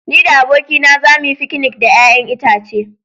Ni da abokaina za mu yi fikinik da 'ya'yan itace.